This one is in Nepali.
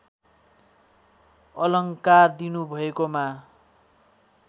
अलङ्कार दिनुभएकोमा